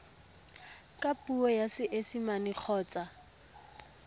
ka puo ya seesimane kgotsa